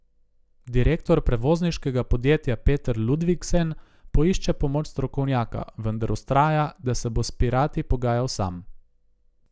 Direktor prevozniškega podjetja Peter Ludvigsen poišče pomoč strokovnjaka, vendar vztraja, da se bo s pirati pogajal sam.